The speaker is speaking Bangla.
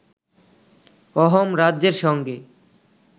অহোম রাজ্যের সঙ্গে